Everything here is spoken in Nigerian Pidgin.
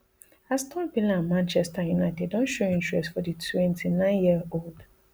aston villa and manchester united don show interest for di twenty-nine year old